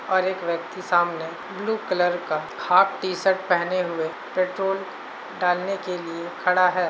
और एक व्यक्ति सामने ब्लू कलर का हाफ टी शर्ट पहने हुए पेट्रोल डालने के लिए खड़ा है।